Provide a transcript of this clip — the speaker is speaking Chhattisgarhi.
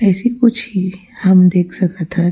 ऐसे कुछ ही हम देख सकत हन --